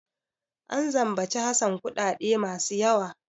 An zambaci Hassan kuɗaɗe masu yawa.